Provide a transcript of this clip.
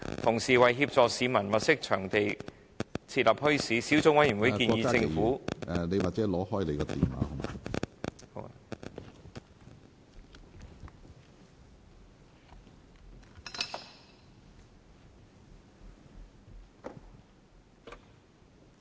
同時，為協助市民物色場地設立墟市，小組委員會建議政府......